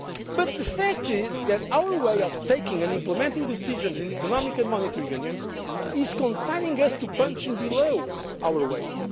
united. But the fact is that our way of taking and implementing decisions in the Economic and Monetary Union is consigning us to punching below our